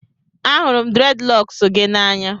Ahụrụ m Dreadilocks gị n'anya